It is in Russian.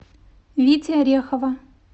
вити орехова